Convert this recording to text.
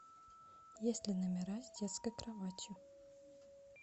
есть ли номера с детской кроватью